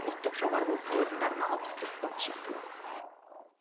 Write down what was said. ұлттық жоғарғы оқу орындарына алпыс бес балл шектеу